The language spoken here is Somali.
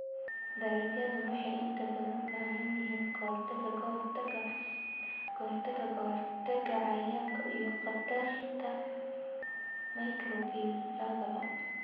Dalaggu wuxuu inta badan u baahan yahay ka-hortag ka-hortagga cayayaanka iyo khatarta microbial labadaba.